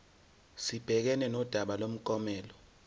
sibhekane nodaba lomklomelo